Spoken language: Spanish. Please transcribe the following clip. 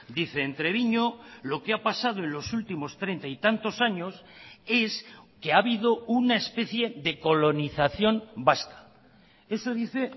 dice en treviño lo que ha pasado en los últimos treinta y tantos años es que ha habido una especie de colonización vasca eso dice